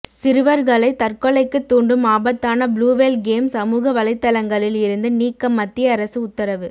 சிறுவர்களை தற்கொலைக்கு தூண்டும் ஆபத்தான ப்ளூவேல் கேம் சமூக வலைதளங்களில் இருந்து நீக்க மத்திய அரசு உத்தரவு